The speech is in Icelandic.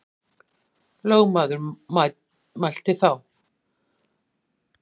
Lögmaður mælti þá: Hver þykist þú, morðhundurinn, vera að kveða upp um slíkt.